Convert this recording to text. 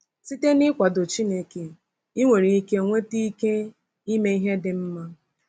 Site n’ịkwado Chineke, i nwere ike nweta ike ime ihe dị mma.